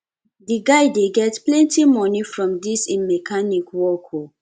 di guy dey get plenty moni from dis im mechanic work o